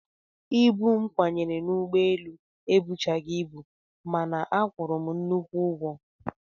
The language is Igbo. Ibu m kwanyere n'ụgbọelu ebuchaghị ibu mana a kwụrụ m nnukwu ụgwọ